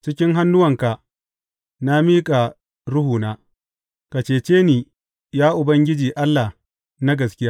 Cikin hannuwanka na miƙa ruhuna; ka cece ni, ya Ubangiji Allah na gaskiya.